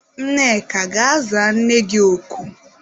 Nneka gaa za nne gị oku!